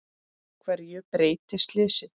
Hverju breytti slysið?